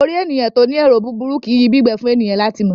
Orí ènìyàn tí o ní ero búburú kìí yi bi igbẹ fún ènìyàn lati mọ ọ.